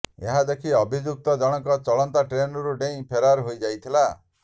ଏହା ଦେଖି ଅଭିଯୁକ୍ତ ଜଣଙ୍କ ଚଳନ୍ତା ଟ୍ରେନ୍ରୁ ଡେଇଁ ଫେରାର ହୋଇ ଯାଇଥିଲା